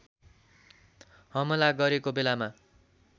हमला गरेको बेलामा